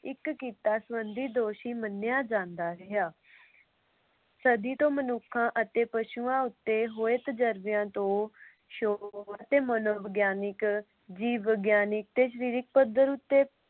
ਇਕ ਕੀਤਾ ਸੰਬੰਧੀ ਦੋਸ਼ੀ ਮੰਨਿਆਂ ਜਾਂਦਾ ਰਿਹਾ। ਸਦੀ ਤੋਂ ਮਨੁੱਖਾਂ ਅਤੇ ਪਸ਼ੂਆਂ ਉਤੇ ਹੋਏ ਤਜਰਬਿਆਂ ਤੋਂ ਸ਼ੋਰ ਅਤੇ ਮਨੋਵਿਗਿਆਨਿਕ, ਜੀਵ ਵਿਗਿਆਨਕ ਅਤੇ ਸ਼ਰੀਰਕ ਪੱਧਰ